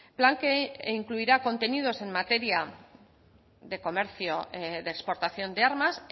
plan que incluirá contenidos en materia de comercio de exportación de armas